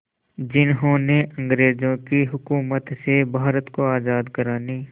जिन्होंने अंग्रेज़ों की हुकूमत से भारत को आज़ाद कराने